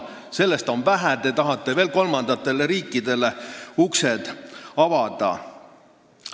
Sellest on vähe – te tahate veel kolmandatele riikidele ukse avada.